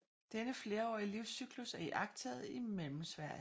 Denne flerårige livscyklus er iagttaget i Mellemsverige